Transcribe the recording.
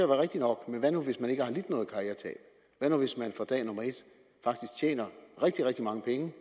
rigtigt nok men hvad nu hvis man ikke har lidt noget karrieretab hvad nu hvis man fra dag et faktisk tjener rigtig rigtig mange penge